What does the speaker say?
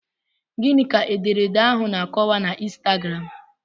Gịnị ka ederede ahụ na-akọwa na ịnstagram?